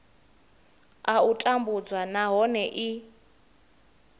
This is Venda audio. a u tambudzwa nahone i